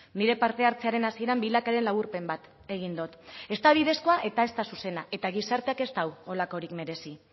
nire parte hartzearen hasieran bilakaeraren laburpen bat egin dut ez bidezkoa eta ez zuzena eta gizarteak ez du holakorik merezi